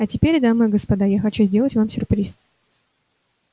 а теперь дамы и господа я хочу сделать вам сюрприз